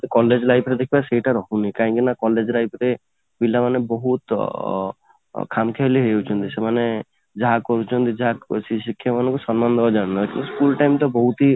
college life ରେ ଦେଖିବା ସେଇଟା ରହୁନି କାହିଁକି ନା college life ରେ ପିଲା ମାନେ ବହୁତ ଅଂ ଖାମଖିଆଲି ହେଇଯାଉଛନ୍ତି ସେମାନେ ଯାହା କହୁଛନ୍ତି ଯାହା ଶିକ୍ଷକ ମାନଙ୍କୁ ସମ୍ମାନ ଦେବା ଜାଣିନାହାନ୍ତି school time ତ ବହୁତ ହି